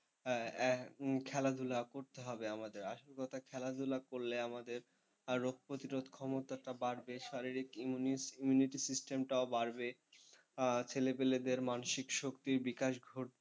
খেলাধুলা করতে হবে আমাদের আসল কথা খেলাধুলা করলে আমাদের আরও রোগপ্রতিরোধ ক্ষমতাটা বাড়বে, শারীরিক immunity system টাও বাড়বে, ছেলেপুলেদের মানসিক শক্তির বিকাশ ঘটবে,